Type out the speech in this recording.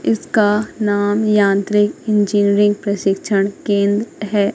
इसका नाम यांत्रिक इंजीनियरिंग प्रशिक्षण केंद्र है।